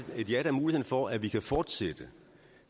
et ja da muligheden for at vi kan fortsætte